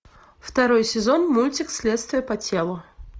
второй сезон мультик следствие по телу